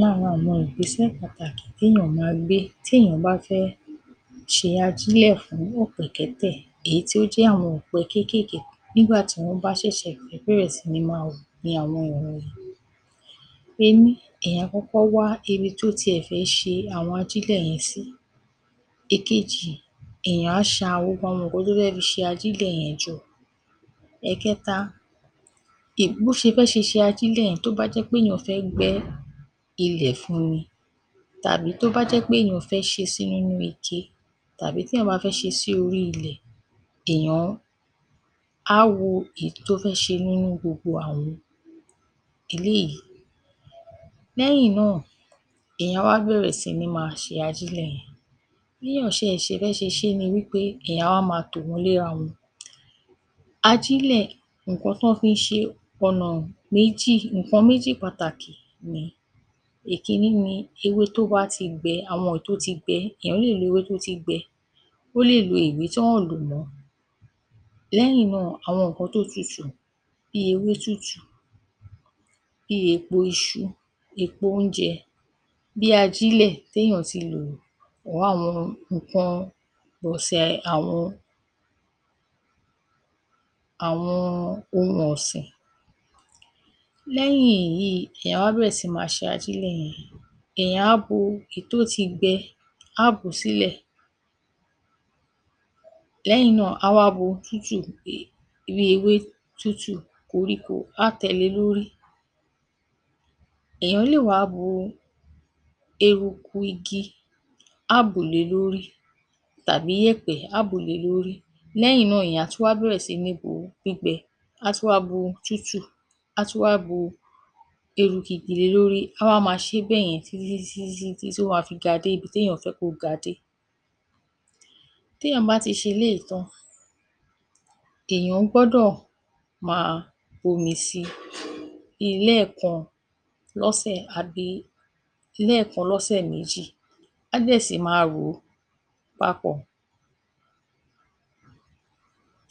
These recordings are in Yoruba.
Lára àwọn ìgbésẹ̀ pàtàkì téèyàn máa gbé téèyàn bá fẹ́ ṣe ajílẹ̀ fún ọ̀pẹ̀ẹ̀kẹ́tẹ̀ èyí tí ó jẹ́ àwọn ọ̀pẹ kékèké nígbà tí wọ́n bá ṣẹ̀ṣẹ̀ fẹ́ bẹ̀rẹ̀ sí ní máa hù ni àwọn wọ̀nyìí. Ení, èèyàn á kọ́kọ́ wá ibi tó tiẹ̀ fi ṣe àwọn ajílẹ̀ yẹn sí. Èkejì, èèyàn á ṣa gbogbo àwọn nǹkan tó fẹ́ fi ṣe ajílẹ̀ yẹn jọ. Ẹ̀kẹta, bó ṣe fẹ́ ṣe ṣe ajílẹ̀ yẹn, tó bá jẹ́ péèyàn gbẹ́ ilẹ̀ fún un ni, tàbí tó bá jẹ́ péèyàn fẹ́ ṣe é sí nínú ike, tàbí téèyàn bá fẹ́ ṣe é sí orí ilẹ̀, èèyàn á wo èyí tó fẹ́ ṣe nínú gbogbo àwọn eléyìí. Lẹ́yìn náà, èèyàn á wá bẹ̀rẹ̀ sí ní máa ṣe ajílẹ̀ yẹn. Bí èèyàn ṣẹ̀ ṣe fẹ́ ṣe é ni wí pé èèyàn á wá máa tò wọ́n léra wọn. Ajílẹ̀, ǹǹkan tán fi ń ṣe é, ọ̀nà méjì, ǹǹkan méjì pàtàkì ni. Èkíní ni ewé tó bá ti gbẹ, àwọn èyí tó ti gbẹ. Èèyàn lè lo ewé tó ti gbẹ, ó lè lo ìwé tí àn lò mọ́. Lẹ́yìn náà, àwọn ǹǹkan tó tutù bí ewé tútù, bí èèpo iṣu, èèpo oúnjẹ, bí ajílẹ̀ tééyàn ti lò pọ̀ máwọn ǹǹkan pọ̀sẹ̀, àwọn, àwọn ohun ọ̀sìn. Lẹ́yìn èyí, èèyàn á wá bẹ̀rẹ̀ sí máa ṣe ajílẹ̀ yẹn. Èèyàn á bu èyí tó ti gbẹ, á bù ú sílẹ̀. Lẹ́yìn náà, á wá bu tútù, bí ewé tútù, koríko, á tẹ le lórí. Èèyàn lè wá bu eruku igi, á bù le lórí, tàbí yẹ̀pẹ̀, á bù le lórí. Lẹ́yìn náà, èèyàn á tún wá bẹ̀rẹ̀ sí ní bu gbígbẹ, á tún wá bu tútù, á tún wá bu eruku igi le lórí. Á wá máa ṣẹ́ bẹ́yẹn títí títí títí títí tí ó máa fi ga débi téèyàn bá fẹ́ kó ga dé. Téèyàn bá ti ṣe eléyìí tán, èèyàn gbọ́dọ̀ máa fomi sí i bíi lẹ́ẹ̀kan lọ́sẹ̀, àbí lẹ́ẹ̀kan lọ́sẹ̀ méjì. Á dẹ̀ sì máa rò ó papọ̀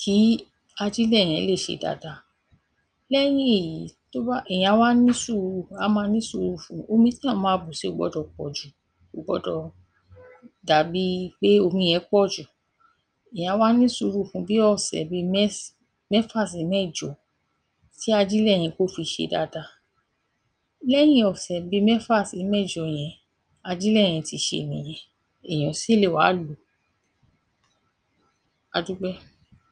kí ajílẹ̀ yẹn lè ṣe dáadáa. Lẹ́yìn èyí, tó bá, èèyàn á wá ní sùúhù, á máa ní sùúrù fun. Omi téèyàn máa bù si ó gbọdọ̀ pọ̀ jù, kò gbọdọ̀ dà bi pé omi yẹn pọ̀ jù. Èèyàn á wá ní sùúrù fun bí ọ̀sẹ̀ bíi mẹ́s, mẹ́fà sí mẹ́jọ kí ajílẹ̀ yẹn, kó fi ṣe dáadáa. Lẹ́yìn ọ̀sẹ̀ bíi mẹ́fà sí mẹ́jọ yẹn, ajílẹ̀ yẹn ti ṣe nìyẹn. Èèyàn sì lè wá lò ó. A dúpẹ́.